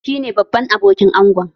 Shi ne babban abokin angon